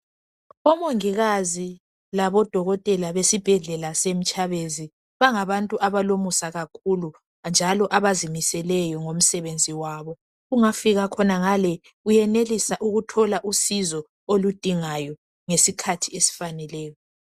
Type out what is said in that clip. Omongikazi labodokotela besibhedlela seMtshabezi bangabantu abalomusa kakhulu njalo abazimiseleyo ngomsebenzini wabo. Ungafika ngale uyenelisa ukuthola usizo oludingayo ngesikhathi esifaneleyo.